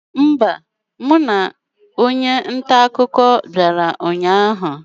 Mba, mụ na onye nta akụkọ bịara ụnyaahụ anọghị.